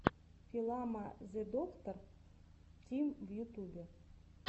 филама зэдоктор тим в ютубе